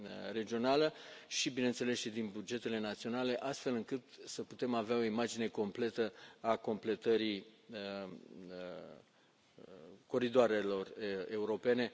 regională și, bineînțeles, și din bugetele naționale, astfel încât să putem avea o imagine întreagă a completării coridoarelor europene.